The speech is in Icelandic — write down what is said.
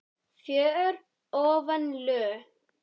fögur ofan lög.